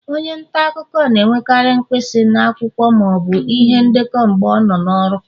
onye nta akụkọ na-enwekarị mpisi na akwụkwọ ma ọ bụ ihe ndekọ mgbe ọ nọ n'ọrụ